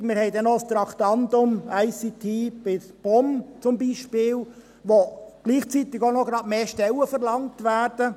Wir haben zum Beispiel noch ein Traktandum «ICT» bei der POM wo gleichzeitig mehr Stellen verlangt werden.